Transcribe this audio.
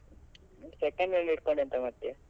Second hand ಹಿಡ್ಕೊಂಡ್ ಎಂತ ಮಾಡ್ತಿಯಾ.